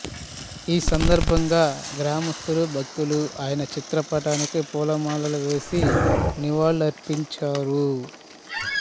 ఈ సందర్భంగా గ్రామస్థులు భక్తులు ఆయన చిత్రపటానికి పూలమాలలు వేసి నివాళులు అర్పించారు